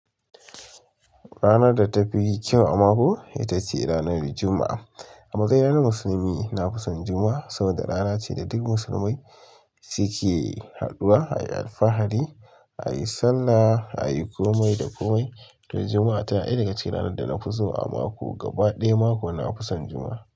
Ranar davtafinkyau a kako? Itave ranar juma, a a matsayina na Musulmi, na fi son Juma'a saboda rana ce da duk musulmai su ke haduwa ayi alfahari, ayi sallah, ayi komai da komai. To Juma'a ta na daya daga cikin ranar da nafi so a mako. Gaba ɗaya mako, na fi son Juma'a.